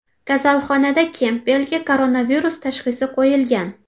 Kasalxonada Kempbellga koronavirus tashxisi qo‘yilgan.